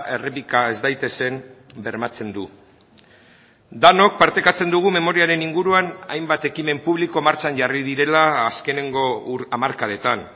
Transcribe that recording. errepika ez daitezen bermatzen du denok partekatzen dugu memoriaren inguruan hainbat ekimen publiko martxan jarri direla azkeneko hamarkadetan